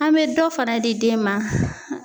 An be dɔ fana di den ma.